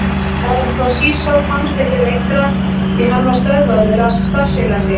Herra Toshizo komst ekki lengra því hann var stöðvaður af starfsfélaga sínum.